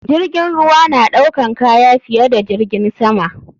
Jirgin ruwa naɗaukan kaya fiye da jirgin sama.